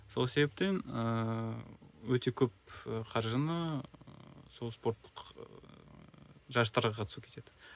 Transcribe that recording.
сол себептен ыыы өте көп қаржыны сол спорттық ыыы жарыстарға қатысуға кетеді